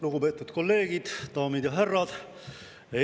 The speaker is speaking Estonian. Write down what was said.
Lugupeetud kolleegid, daamid ja härrad!